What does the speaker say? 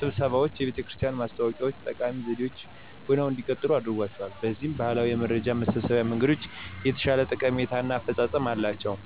ስብሰባዎችና የቤተክርስቲያን ማስታወቂያ ዎች ጠቃሚ ዘዴዎች ሆነው እንዲቀጥሉ አድርጓቸዋል። በዚህም ባህላዊ የመረጃ መሰብሰቢያ መንገዶች የተሻለ ጠቀሜታ እና አፈፃፀም አላቸው።